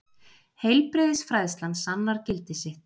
Heilbrigðisfræðslan sannar gildi sitt.